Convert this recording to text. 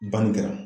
Banni kɛra